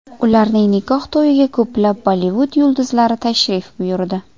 Ularning nikoh to‘yiga ko‘plab Bollivud yulduzlari tashrif buyurdi.